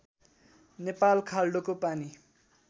नेपाल खाल्डोको पानी